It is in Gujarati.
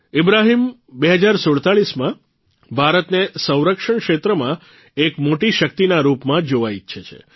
ઇબ્રાહીમ ૨૦૪૭માં ભારતને સંરક્ષણ ક્ષેત્રમાં એક મોટી શક્તિના રૂપમાં જોવા ઇચ્છે છે